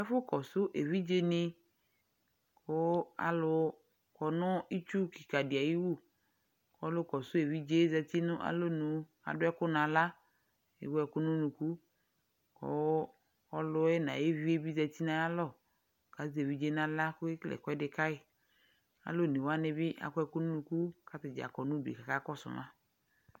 Afɔ kɔsʋ evidzenɩ: kʋ alʋ kɔ nʋ itsu kɩkadɩ ay'iwu; ɔlʋkɔsʋ evidzee zati n'alonu k'adʋ ɛkʋ n'aɣla , k'ewu ɛkʋ n'unuku, kʋ ɔlʋɛ n'ay'uvie bɩ zati n'zyalɔ k'azɛ evidzee n'aɣlak'oke kele ɛkʋɛdɩ kayɩ Alʋ onewanɩ bɩ akɔ ɛkʋ n'unuku , k'atadza kɔ n'udu k'akz kɔsʋ mz